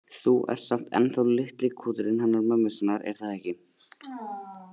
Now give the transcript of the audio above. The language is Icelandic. Þú ert samt ennþá litli kúturinn hennar mömmu sinnar, er það ekki?